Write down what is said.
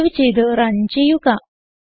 save ചെയ്ത് run ചെയ്യുക